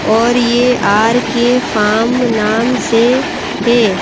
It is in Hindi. ओर ये आर_के फॉर्म नाम से हैं।